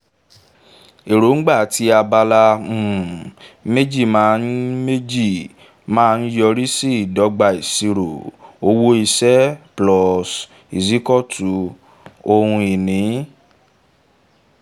èróńgbà ti abala um méjì' máa ń méjì' máa ń yọrí sí ìdọ́gba isiro: owó iṣẹ́+gbèsè= ohun ìní